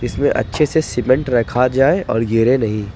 इसमें अच्छे से सीमेंट रखा जाए और गिरे नहीं ।